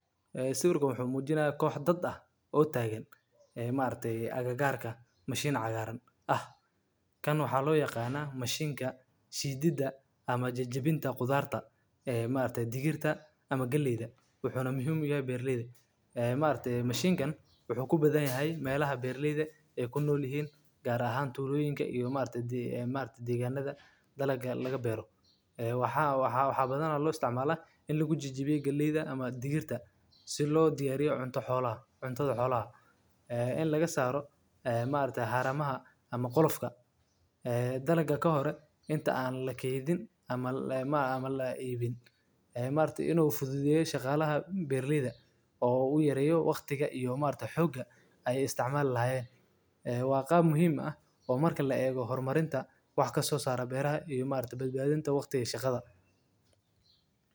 Sawirkan wuxu mujinaya koh dad ah oo tagan gob mashin cagar ah jajabinta kudarta si loo diyariyo haramaaha ,dalaga lahore oo u fudedeyo oo wax kaso sara horumarinta shaqada oo aad iyo aad muhim u ah, horimarinta shaqada.